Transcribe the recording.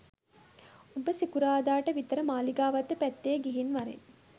උඹ සිකුරාද ට විතර මාලිගාවත්ත පැත්තෙ ගිහින් වරෙන්